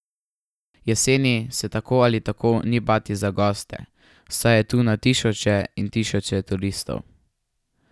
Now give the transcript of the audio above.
Jeseni se tako ali tako ni bati za goste, saj je tu na tisoče in tisoče turistov.